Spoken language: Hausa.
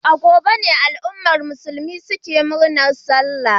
A gobe ne al'ummar musulmi ke murnar Sallah.